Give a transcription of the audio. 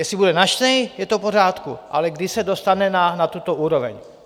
Jestli bude načtený, je to v pořádku, ale kdy se dostane na tuto úroveň?